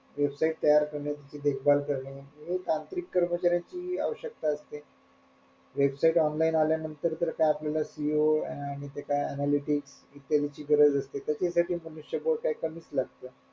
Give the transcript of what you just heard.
Website तयार करणे त्याची देखभाल करणे हे तांत्रिक कर्मचाऱ्यांची आवश्यकता असते website online आल्या नंतर तर काय आपल्याला CEO अन आणि ते काय analytics इत्यादींची गरज असते तसे तसे मनुष्य बळ काय कमीच लागते.